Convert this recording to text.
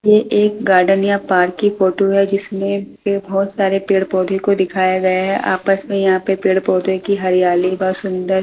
ये एक गार्डन या पार्क की फोटो है जिसमें पे बहुत सारे पेड़-पौधे को दिखाया गया है आपस में यहां पे पेड़-पौधे की हरियाली व सुंदर--